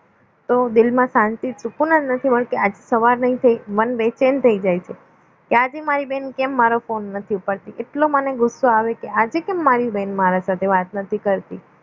તો દિલમાં શાંતિ સુકુન જ નથી મળતો. આજે સવાર નહીં થઈ મન બેચેન થઈ જાય છે કે આજે મારી બેન કેમ મારો ફોન નથી ઉપાડતી એટલો ગુસ્સો આવે કે આજે કેમ મારી બેન મારા સાથે વાત નથી કરતી